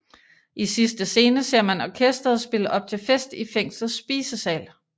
I sidste scene ser man orkesteret spille op til fest i fængslets spisesal